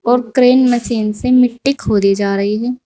Crane machine से मिट्टी खोदी जा रही हैं।